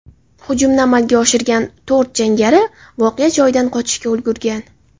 Hujumni amalga oshirgan to‘rt jangari voqea joyidan qochishga ulgurgan.